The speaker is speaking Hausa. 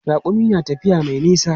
Raƙumi na tafiya mai nisa.